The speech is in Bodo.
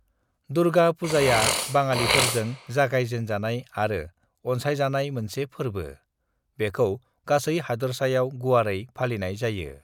दुर्गा पूजाया बाङालिफोरजों जागायजेनजानाय आरो अनसायजानाय मोनसे फोरबो; बेखौ गासै हादोरसायाव गुवारै फालिनाय जायो।